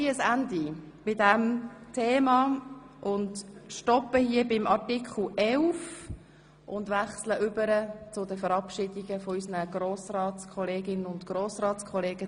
Beenden wir die Debatte an dieser Stelle und wechseln zur Verabschiedung von Grossratskolleginnen und Grossratskollegen.